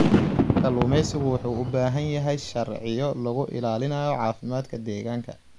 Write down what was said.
Kalluumeysigu wuxuu u baahan yahay sharciyo lagu ilaalinayo caafimaadka deegaanka.